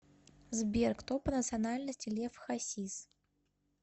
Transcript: сбер кто по национальности лев хасис